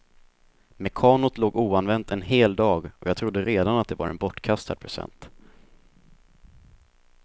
Mekanot låg oanvänt en hel dag och jag trodde redan att det var en bortkastad present.